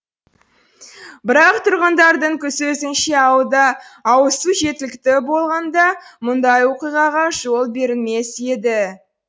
бірақ тұрғындардың сөзінше ауылда ауызсу жеткілікті болғанда мұндай оқиғаға жол берілмес еді